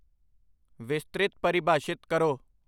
ਵਿਸਤ੍ਰਿਤ ਪਰਿਭਾਸ਼ਿਤ ਕਰੋ